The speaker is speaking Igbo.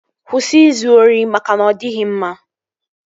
Kwụsị izu ori maka na ọ dịghị mma!